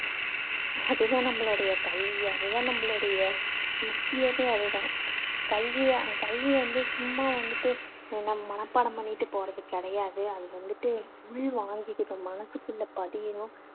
அது தான் நம்பளுடைய கல்வி அது தான் நம்பளுடைய முக்கியமே அது தான். கல்வியை கல்வி வந்து சும்மா வந்துட்டு என்ன மனப்பாடம் பண்ணிட்டு போறது கிடையாது. அது வந்துட்டு உள்வாங்கிக்கணும் மனசுக்குள்ள பதியணும்.